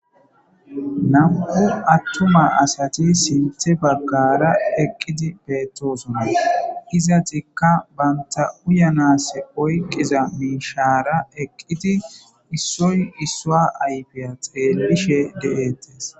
nam7u attuma asati sinthe baggara eqqidi beettosuna izatikka banta uyanase oyqqiza miishaara eqqidi issoy issoa ayfiyateelishe de7ettes